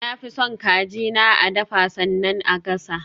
Na fi son kaji na a dafa sannan a gasa.